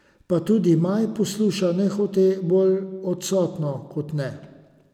Pa tudi Maj posluša nehote, bolj odsotno kot ne.